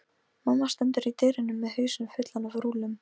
Mamma stendur í dyrunum með hausinn fullan af rúllum.